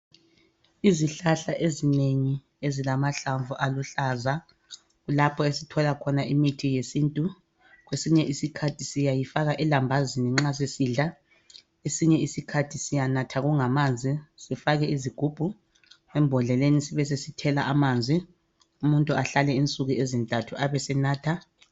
Izihlahla ezinengi ezilamhlamvu aluhlaza kulapho esithola khona imithi yesintu kwesinye isikhathi siyayifaka elambazini nxa sisidla kwesinye isikhathi siyanatha kungamanzi sifake izigubhu embodleni sibesesithela amanzi umuntu ahlale insuku ezintathu abesenatha